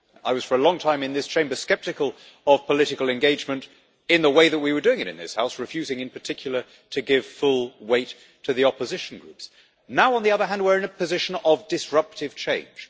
I was for a long time in this Chamber sceptical of political engagement in the way that we were doing it in this House, refusing in particular to give full weight to the opposition groups. Now, on the other hand, we are in a position of disruptive change.